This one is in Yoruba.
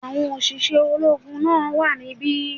Àwọn òṣìṣẹ́ ológun náà wà níbí